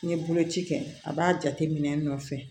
N'i ye boloci kɛ a b'a jate minɛ n'a fɛ